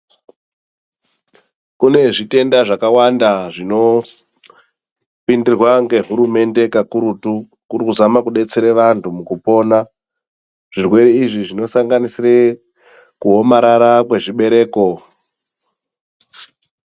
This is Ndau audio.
Kune zvitenda zvakawanda zvinopindirwa ngehurumende kakurutu kuri kuzama kudetsera vantu pakupona zvirwere izvi zvinosanganiisira kuomarara kwezvibereko.